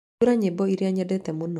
hingũra nyĩmbo iria nyendete mũno